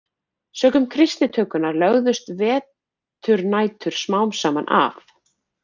Sökum kristnitökunnar lögðust veturnætur smám saman af.